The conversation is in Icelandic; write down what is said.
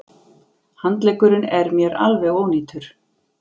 Handleggurinn er mér alveg ónýtur.